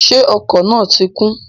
Ṣé ọkọ̀ náà ti kún?